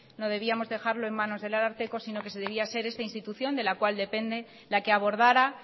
no debíamos dejarlo en manos del ararteko sino que debería ser esta institución de la cual depende la que abordara